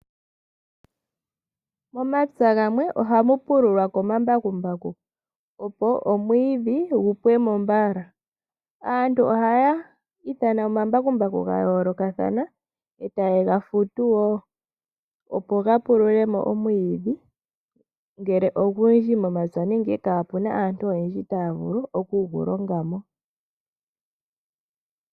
Momapya gamwe ohamu pululwa komambakumbaku opo omwiidhi gu pwemo mbala aantu ohaya ithana omambakumbaku gayoolokathana etaya futu wo opo ga pululemo omwiidhi ngele ogundji momapya aantu oyendji taya vulu okugulonga mo .